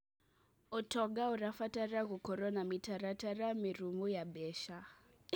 ũtonga ũrabatara gũkorwo na mĩtaratara mĩrũmu ya mbeca.